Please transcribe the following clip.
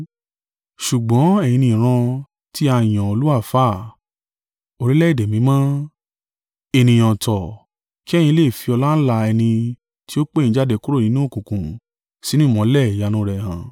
Ṣùgbọ́n ẹ̀yin ni ìran tí a yàn olú àlùfáà, Orílẹ̀-èdè mímọ́, ènìyàn ọ̀tọ̀ ki ẹ̀yin lè fi ọláńlá ẹni tí ó pè yín jáde kúrò nínú òkùnkùn sínú ìmọ́lẹ̀ ìyanu rẹ̀ hàn.